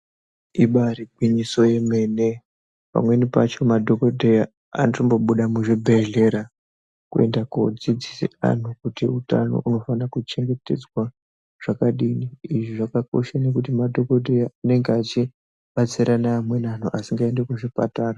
Ibairigwinyiso remene. Pamweni pacho madhogodheya anotombobuda muzvibhedhlera kuende kodzidzisa vantu kuti utano unofane kuchengetedzwa zvakadini. Izvi zvakakoshere kuti madhogodheya anenge achibatsire neamweni antu asingaendi kuchipatara.